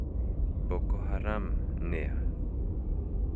Boko haram nĩa?